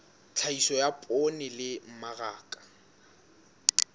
tlhahiso ya poone le mmaraka